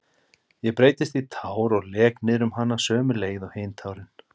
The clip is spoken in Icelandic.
Ég breytist í tár og lek niðrum hana sömu leið og hin tárin.